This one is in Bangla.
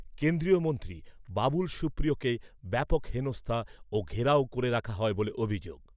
কেন্দ্রীয় মন্ত্রী বাবুল সুপ্রিয়কে ব্যাপক হেনস্থা ও ঘেরাও করে রাখা হয় বলে অভিযোগ।